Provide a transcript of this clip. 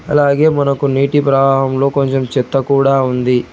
అలాగే మనకు నీటి ప్రవాహంలో కొంచెం చెత్త కూడా ఉంది.